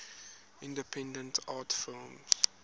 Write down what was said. independent art films